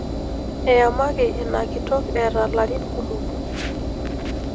Eyamaki ina kitok eeta larin kumok.